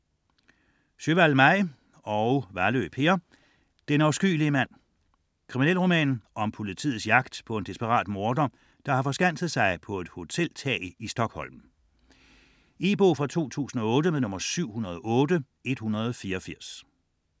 Sjöwall, Maj: Den afskyelige mand Krimi om politiets jagt på en desperat morder, der har forskanset sig på et hotelværelse i Stockholm. E-bog 708184 2008.